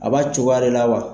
A b'a cogoya de la wa.